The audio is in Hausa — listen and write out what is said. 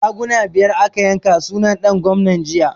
Raguna biyar aka yanka sunan ɗan gwamna jiya